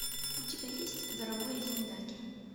у тебя есть дорогой зиндаги